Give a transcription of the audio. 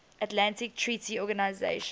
atlantic treaty organisation